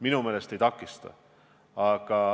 Minu meelest ei takista.